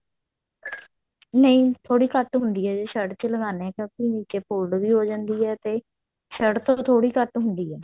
ਨਹੀ ਥੋੜੀ ਘੱਟ ਹੁੰਦੀ ਹੈ ਜੇ shirt ਚ ਲਗਾਉਣੇ ਹਾਂ ਕਿਉਂਕਿ ਨੀਚੇ fold ਵੀ ਹੋ ਜਾਂਦੀ ਹੈ ਤੇ shirt ਤੋਂ ਥੋੜੀ ਘੱਟ ਹੁੰਦੀ ਹੈ